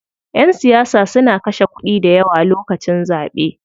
Ƴan siyasa suna kashe kuɗi dayawa lokacin zaɓe.